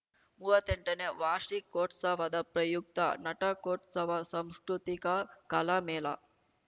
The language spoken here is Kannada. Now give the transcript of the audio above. ಮೂವತ್ತೆಂಟನೇ ವಾರ್ಷಿಕೋತ್ಸವದ ಪ್ರಯುಕ್ತ ನಟಕೋತ್ಸವ ಸಂಸ್ಕೃತಿಕ ಕಲಾ ಮೇಳ